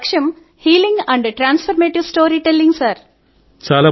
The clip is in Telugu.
నా లక్ష్యం healing and transformative storytelling sir